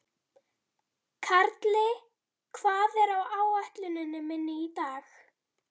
Karli, hvað er á áætluninni minni í dag?